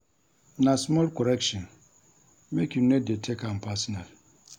Na small correction, make you no dey take am personal.